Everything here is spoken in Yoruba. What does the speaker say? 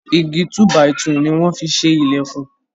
Igi túbàìtù ni wọ́n fi ṣe ìlẹ̀kùn.